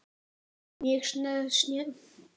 Mjög snjöll lausn.